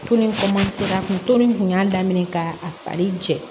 kun y'a daminɛ ka a fari jɛ